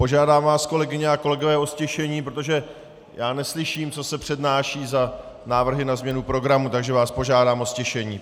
Požádám vás, kolegyně a kolegové o ztišení, protože já neslyším, co se přednáší za návrhy na změnu programu, takže vás požádám o ztišení.